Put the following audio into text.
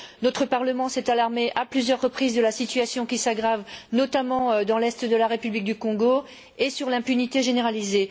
Notre Parlement s'est alarmé, à plusieurs reprises, de la situation qui s'aggrave, notamment dans l'Est de la République du Congo, et de l'impunité généralisée.